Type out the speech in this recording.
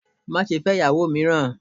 Má ṣe fẹ́ ìyàwó mìíràn!